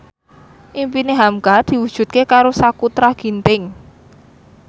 impine hamka diwujudke karo Sakutra Ginting